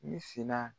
Ne sina